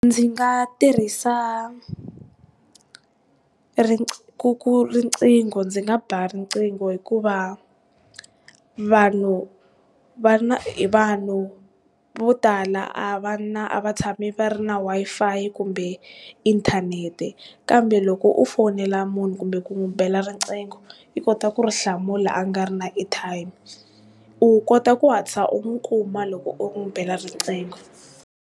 Ndzi nga tirhisa riqingho ndzi nga ba riqhingho hikuva vanhu va na vanhu vo tala a va na, a va tshami va ri na Wi-Fi kumbe inthanete kambe loko u fonela munhu kumbe ku n'wi bela riqhingho u kota ku ri hlamula a nga ri na airtime. U kota ku hatlisa u n'wi kuma loko u n'wi bela riqhingho.